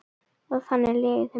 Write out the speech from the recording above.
Og þannig líður þeim betur.